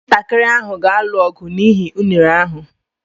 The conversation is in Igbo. Ụmụntakịrị ahụ ga-alụ ọgụ n'ihi unere ahụ.